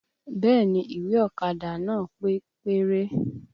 Bẹẹ ni, ìwé ọ̀kadà nàá pé péré